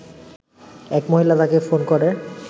এক মহিলা তাকে ফোন করে